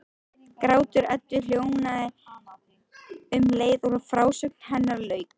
Grátur Eddu hljóðnaði um leið og frásögn hennar lauk.